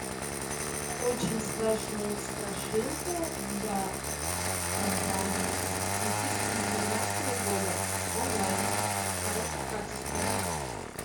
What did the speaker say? очень страшная страшилка для компании двух тысячи девятнадцатого года онлайн в хорошем качестве